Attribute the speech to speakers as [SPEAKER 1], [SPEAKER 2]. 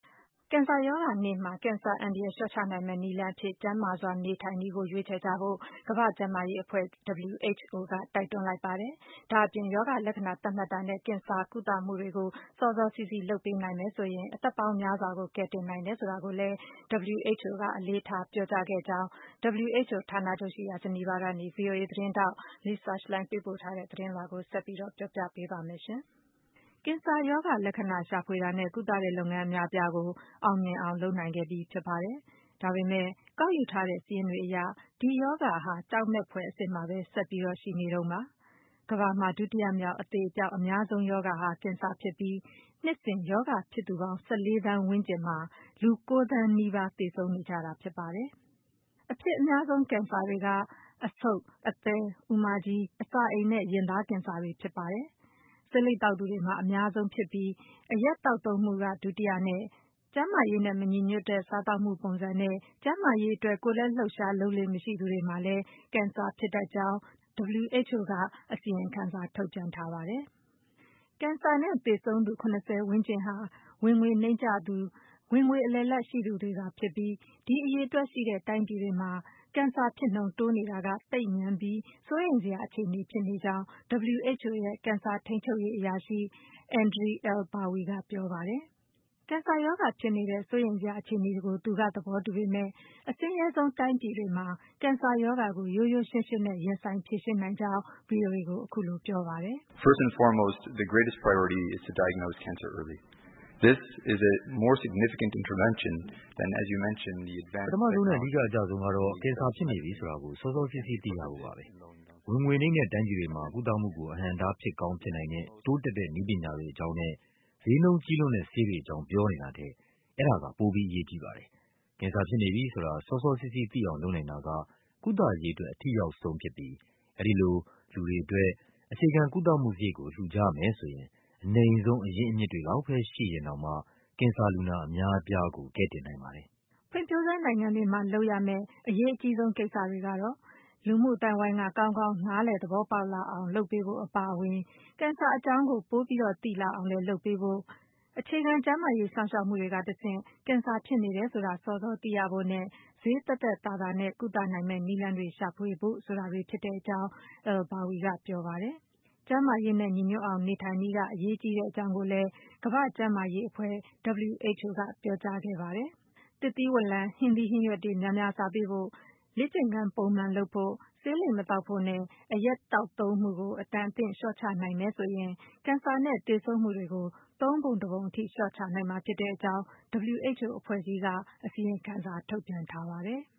[SPEAKER 1] ကင်ဆာရောဂါနေ့မှာ ကင်ဆာအန္တရာယ်လျှော့ချနိုင်မယ့်နည်းလမ်းအဖြစ် ကျန်းမာစွာနေထိုင်နည်းကိုရွေးချယ်ကြဖို့ ကမ္ဘာ့ ကျန်းမာ ရေးအဖွဲ့ WHO က တိုက်တွန်းလိုက်ပါတယ်။ ဒါ့အပြင် ရောဂါလက္ခဏာသတ်မှတ်တာနဲ့ ကင်ဆာကုသမှုတွေကို စောစောစီးစီးလုပ်ပေးနိုင် မယ်ဆိုရင် အသက်ပေါင်းများစွာကို ကယ်တင်နိုင်တယ်ဆိုတာကိုလည်း WHO က အလေးထားကြောင်း WHO ဌာနချုပ်ရှိရာ ဂျနီဗာ ကနေ ဗွီအိုအေ သတင်းထောက် Lisa Schlein က ပေးပို့ထားတဲ့သတင်းလွှာကို ဆက်ပြီးပြောပြပေးပါ့မယ်။ ကင်ဆာရောဂါလက္ခဏာရှာဖွေတာနဲ့ ကုသတဲ့ လုပ်ငန်းအများအပြားကို အောင်မြင်အောင်လုပ်နိုင်ခဲ့ပြီးဖြစ်ပါတယ်။ ဒါပေမယ့် ကောက်ယူ ထားတဲ့ စာရင်းတွေအရ ဒီရောဂါဟာ ကြောက်မက်ဖွယ်အဆင့်မှာ ဆက်ပြီး ရှိနေဆဲပါပဲ။ ကမ္ဘာမှာ ဒုတိယမြောက် အသေအပျောက်အများဆုံး ရောဂါဟာ ကင်ဆာဖြစ်ပြီး နှစ်စဉ် ရောဂါဖြစ်သူပေါင်း ၁၄ သန်းဝန်းကျင်မှာ လူ ၉ သန်းနီးပါး သေဆုံးနေကြပါတယ်။ အဖြစ်များဆုံး ကင်ဆာတွေကတော့ အဆုတ်၊ အသည်း၊ အူမကြီး၊ အစာအိမ်နဲ့ ရင်သားကင်ဆာတွေ ဖြစ်ကြပါတယ်။ ဆေးလိပ်သောက်သူ တွေ မှာ အဖြစ်အများဆုံးဖြစ်ပြီး အရက်သောက်သုံးမှုက ဒုတိယနဲ့ ကျန်းမာရေးနဲ့မညီညွတ်တဲ့ စားသောက်မှုပုံစံနဲ့ ကျန်းမာရေး ကိုယ်လက် လှုပ်ရှားလုပ်လေ့မရှိသူတွေမှာလည်း ကင်ဆာဖြစ်တတ်ကြောင်း WHO က အစီရင်စာ ထုတ်ပြန်ထားပါတယ်။ ကင်ဆာနဲ့သေဆုံးသူ ၇၀ % ဝန်းကျင်ဟာ ဝင်ငွေနိမ့်ကျသူ ၊ ဝင်ငွေအလယ်အလတ်သာရှိသူတွေဖြစ်ကြပြီး ဒီအရေအတွက်ရှိတဲ့ တိုင်းပြည်မျိုး တွေမှာ ကင်ဆာဖြစ်နှုန်းတိုးနေတာဟာ သိပ်မြန်ပြီး စိုးရိမ်စရာအခြေအနေဖြစ်နေတဲ့အကြောင်း WHO ရဲ့ ကင်ဆာထိန်းချုပ်ရေး အရာရှိ Andre Ilbawi က ပြောပါတယ်။ သူက ကင်ဆာရောဂါဖြစ်နေတဲ့ စိုးရိမ်စရာအခြေအနေကို သဘောတူပေမယ့် အဆင်းရဲဆုံးတိုင်းပြည်တွေမှာ ကင်ဆာရောဂါကို ရိုးရိုးရှင်းရှင်းနဲ့ ရင်ဆိုင်ဖြေရှင်းနိုင်ကြောင်း ဗွီအိုအေကို ပြောပါတယ်။
[SPEAKER 2] “ပထမဆုံးနဲ့ အဓိကအကျဆုံးကတော့ ကင်ဆာဖြစ်နေပြီဆိုတာကို စောစောစီးစီးသိရဖို့ပါပဲ။ ဝင်ငွေနိမ့်တဲ့တိုင်းပြည်တွေမှာ ကုသမှုကို အဟန့် အတားဖြစ်ကောင်းဖြစ်နိုင်တဲ့ တိုးတက်တဲ့ နည်းပညာတွေအကြောင်းနဲ့ ဈေးနှုန်းကြီးလွန်းတဲ့ဆေးတွေအကြောင်း ပြောနေတာထက် အဲဒါက ပိုပြီးအရေးကြီးပါတယ်။ ကင်ဆာဖြစ်နေပြီဆိုတာ စောစောစီးစီးသိအောင်လုပ်နိုင်တာက ကုသရေးအတွက် အထိရောက်ဆုံးဖြစ်ပြီး အဲဒီလို လူတွေအတွက် အခြေခံကုသမှုစရိတ်ကို လှူကြမယ်ဆိုရင် အနိမ့်ဆုံးအရင်းအမြစ်တွေလောက်ပဲ ရှိရင်တောင်မှာ ကင်ဆာလူနာတွေ အများအပြားကို ကယ်တင်နိုင်ပါတယ်။
[SPEAKER 1] ” ဖွံဖြိုးဆဲနိုင်ငံတွေမှာ လုပ်ပေးရမယ့် အရေးကြီးကိစ္စတွေကတော့ - လူမှုအသိုင်းအဝိုင်းက ကောင်းကောင်းသဘောပေါက်လာအောင်လုပ်ပေးဖို့ အပါအဝင် ကင်ဆာအကြောင်းတွေ ပိုပြီးသိလာအောင် လုပ်ပေးဖို့၊ အခြေခံကျန်းမာရေးစောင့်ရှောက်မှုတွေကတဆင့် ကင်ဆာဖြစ်နေတယ် ဆိုတာကို စောစောသိရဖို့နဲ့ ဈေးသက်သက်သာသာနဲ့ ကုသနိုင်မယ့်နည်းလမ်းတွေရှာဖွေဖို့ဆိုတာတွေဖြစ်ကြောင်း Ilbawi က ပြောပါတယ်။ ကျန်းမာရေးနဲ့ညီညွတ်အောင် နေထိုင်နည်းက အရေးကြီးကြောင်း ကမ္ဘာ့ကျန်းမာရေးအဖွဲ့ WHO ကလည်း ပြောကြားခဲ့ပါတယ်။ သစ်သီးဝလံတွေ၊ ဟင်းသီးဟင်းရွက်တွေ များများစားပေးဖို့၊ လေ့ကျင့်ခန်းပုံမှန်လုပ်ဖို့၊ ဆေးလိပ်မသောက်ဖို့နဲ့ အရက်သောက်သုံးမှုကို အတန်အသင့်လျှော့ချနိုင်မယ်ဆိုရင် ကင်ဆာနဲ့ သေဆုံးမှုတွေကို သုံးပုံတပုံအထိ လျှော့ချနိုင်မှာဖြစ်ကြောင်း WHO အဖွဲ့ကြီးက အစီရင်ခံစာ ထုတ်ပြန်ထားပါတယ်။